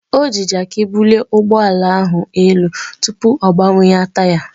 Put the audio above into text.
O ji Jaakị bulie ụgbọala ahụ elu tupu ọ gbanwee taya ya.